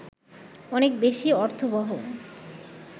অনেক বেশি অর্থবহ